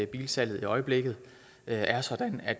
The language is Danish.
bilsalget i øjeblikket er sådan at